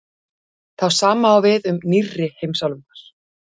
það sama á við um „nýrri“ heimsálfurnar